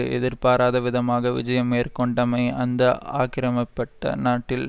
எதிர்பாராத விதமாக விஜயம் மேற்கொண்டமை அந்த ஆக்கிரமிப்பட்ட நாட்டில்